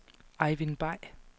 Ejvind Bay